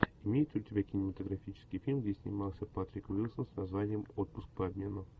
имеется ли у тебя кинематографический фильм где снимался патрик уилсон с названием отпуск по обмену